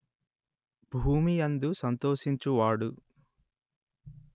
భూమి యందు సంతోషించువాడు